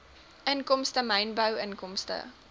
inkomste mynbou inkomste